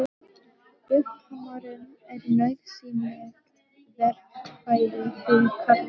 Buffhamarinn er nauðsynlegt verkfæri fyrir karlmenn.